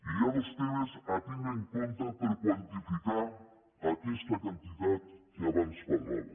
hi ha dos temes a tindre en compte per quantificar aquesta quantitat que abans parlava